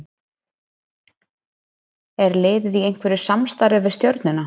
Er liðið í einhverju samstarfi við Stjörnuna?